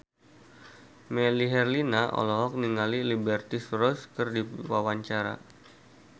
Melly Herlina olohok ningali Liberty Ross keur diwawancara